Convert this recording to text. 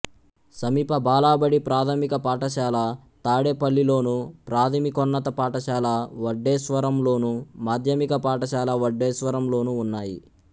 సమీప బాలబడి ప్రాథమిక పాఠశాల తాడేపల్లిలోను ప్రాథమికోన్నత పాఠశాల వడ్డేశ్వరంలోను మాధ్యమిక పాఠశాల వడ్డేశ్వరంలోనూ ఉన్నాయి